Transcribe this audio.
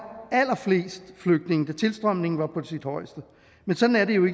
allerflest flygtninge da tilstrømningen var på sit højeste men sådan er det jo